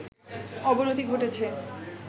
অবনতি ঘটেছে